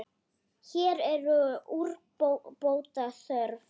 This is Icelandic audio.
Hér er úrbóta þörf.